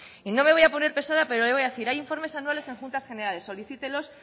y no me voy a poner pesada pero le voy a decir hay informes anuales en juntas generales solicítelos